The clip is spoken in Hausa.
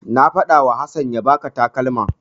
Na faɗawa Hassan ya baka takalman.